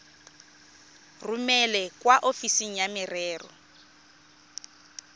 romele kwa ofising ya merero